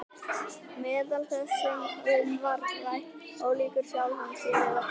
Meðal þess sem um var rætt: Ólíkir sjálfum sér eða hvað?